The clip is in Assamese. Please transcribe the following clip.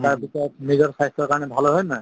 তাৰ পিছত নিজৰ স্বাস্থ্য়ৰ কাৰণে ভাল হয়. হয় নে নহয়?